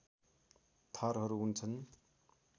थरहरू हुन्छन्